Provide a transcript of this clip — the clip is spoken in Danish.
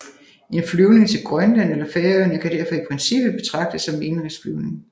En flyvning til Grønland eller Færøerne kan derfor i princippet betragtes som en indenrigsflyvning